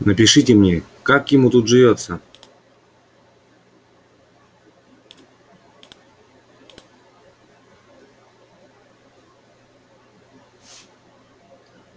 напишите мне как ему тут живётся